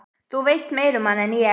Þú veist meira um hana en ég.